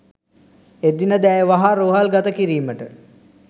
එදිනද ඇය වහා රෝහල් ගත කිරීමට